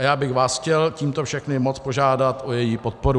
A já bych vás chtěl tímto všechny moc požádat o její podporu.